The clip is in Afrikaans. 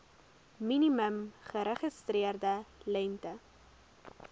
minimum geregistreerde lengte